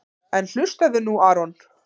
En hlustaðu nú Aron.